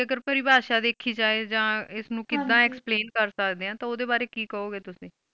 ਅਗਰ ਪਰਿਵਾਰਸ਼ਾ ਵੈਖਿ ਜਾਇ ਆਹ ਐਸ ਨੂੰ ਕਿਧ ਹਨ ਜੀ explane ਕਰ ਸਕਦੇ ਤੇ ਓਦੇ ਬਾਰੇ ਕਿ ਕਾਉਗੇ ਤੁਸੀਂ